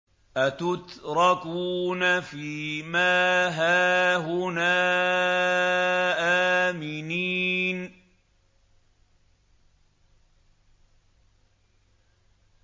أَتُتْرَكُونَ فِي مَا هَاهُنَا آمِنِينَ